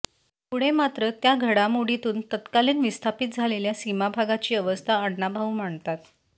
पुढे मात्र त्या घडामोडीतून तत्कालीन विस्थापित झालेल्या सीमाभागाची अवस्था अण्णाभाऊ मांडतात